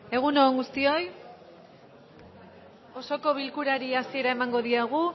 egun on guztioi osoko bilkurari hasiera emango diogu